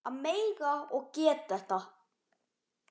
Að mega og geta þetta.